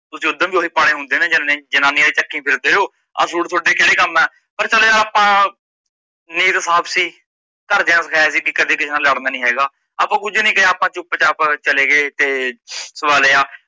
ਤੁਸੀਂ ਉਦਾ ਵੀ ਓਹੀ ਪਾਣੇ ਹੁੰਦੇ ਨੇ ਜਾ ਜਨਾਨੀਆ ਦੇ ਚੱਕੀ ਫਿਰਦੇ ਓ, ਆ ਸੂਟ ਤੁਹਾਡੇ ਕੇਡੇ ਕੰਮ ਆ, ਪਰ ਚੱਲ ਯਰ ਆਪਣਾ ਨੇਕ ਸਾਫ ਸੀ, ਘਰ ਦਿਆ ਸਿਖਾਇਆ ਸੀ ਬੇਈ ਕਿਸੇ ਨਾਲ ਲੜਨਾ ਨੀ ਹੈਗਾ ਆਪ ਕੁਝ ਨੀ ਕਿਹਾ ਆਪ ਚੁੱਪ ਚਾਪ ਚਲੇਗੇ ਤੇ ਸਵਾ ਲਿਆ,